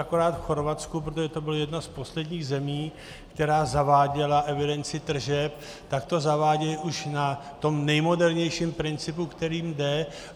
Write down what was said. Akorát v Chorvatsku, protože to byla jedna z posledních zemí, která zaváděla evidenci tržeb, tak to zavádějí už na tom nejmodernějším principu, který jde.